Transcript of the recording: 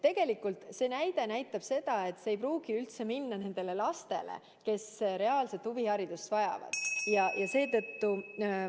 Tegelikult see näide näitab, et see toetus ei pruugi üldse minna nendele lastele, kes reaalselt huviharidust vajavad, ja seetõttu ...